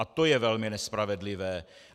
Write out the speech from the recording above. A to je velmi nespravedlivé.